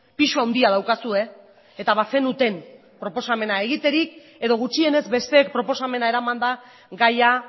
pisu handia daukazue eta bazenuten proposamena egiterik edo gutxienez besteek proposamena eramanda gaia